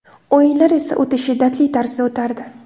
O‘yinlar esa o‘ta shiddatli tarzda o‘tardi.